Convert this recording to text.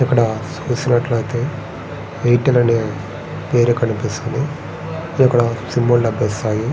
ఇక్కడ చూస్తున్నట్టు ఐతే ఎయిర్టెల్ అనే పేరు కనిపిస్తుంది. ఇక్కడ సిమ్ లు లభిస్తాయి.